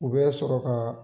U bɛ sɔrɔ ka